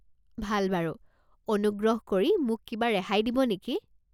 ভাল বাৰু, অনুগ্ৰহ কৰি মোক কিবা ৰেহাই দিব নেকি?